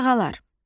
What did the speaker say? Qurbağalar.